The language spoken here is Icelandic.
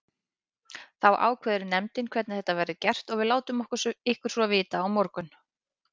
Þá ákveður nefndin hvernig þetta verður gert og við látum ykkur svo vita á morgun.